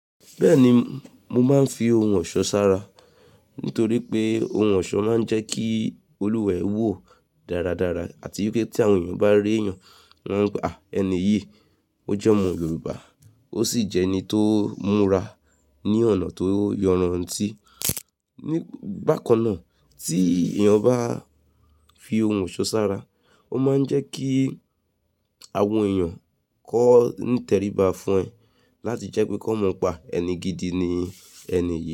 Bẹ́ẹ̀ni, mo máa ń fi ohun ọ̀ṣọ́ sára nítorí pé ohun ọ̀ṣọ́ máa ń jẹ́ kí olùwà ẹ wò dáradára àti pé tí àwọn èèyàn bá rììyàn, wọ́n à ẹni yìí, ó jẹ́ ọmọ Yorùbá, ó sì jẹ́ ẹni tó múra ní ọ̀nà tó yanran. Ní bàkan náà tí èèyàn bá fi ohun ọ̀ṣọ́ sára, ó máa ń jẹ́ kí àwọn èèyàn kó ní tẹríba fún ẹ láti jẹ́ pé kí wọ́n mọ̀ pé ẹni gidi ni ẹni yìí.